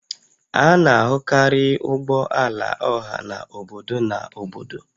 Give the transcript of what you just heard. A na-ahụkarị ụgbọ ala ọha na obodo na obodo